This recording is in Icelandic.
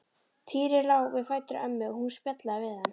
Týri lá við fætur ömmu og hún spjallaði við hann.